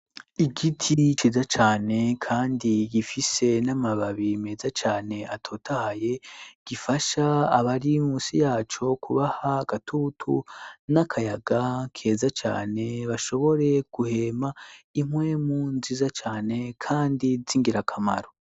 Igiti ciza cane kandi gifise n'amababi meza cane atotaye ,gifasha abari munsi yaco kubaha gatutu ,n'akayaga keza cane ,bashobore guhema ,impwemu nziza cane ,kandi z,ingira kamaro.